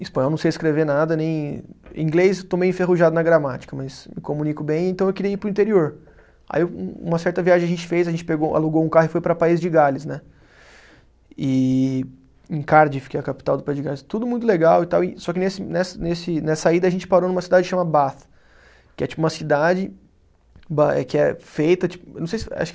Espanhol não sei escrever nada nem, inglês estou meio enferrujado na gramática, mas me comunico bem, então eu queria ir para o interior. Aí um uma certa viagem a gente fez, a gente pegou alugou um carro e foi para País de Gales, né e, em Cardiff que é a capital do País de Gales. Tudo muito legal e tal e, só que nesse nessa nesse nessa ida a gente parou numa cidade chama que é tipo uma cidade, ba é que é feita ti, não sei se, acho